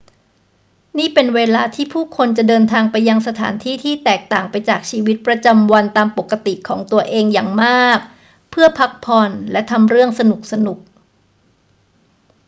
นี่เป็นเวลาที่ผู้คนจะเดินทางไปยังสถานที่ที่แตกต่างไปจากชีวิตประจำวันตามปกติของตัวเองอย่างมาก เพื่อพักผ่อนและทำเรื่องสนุก ๆ